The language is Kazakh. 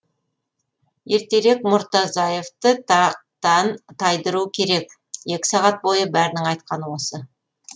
ертерек мұртазаевты тақтан тайдыру керек екі сағат бойы бәрінің айтқаны осы